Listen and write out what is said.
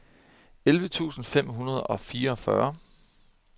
elleve tusind fem hundrede og fireogfyrre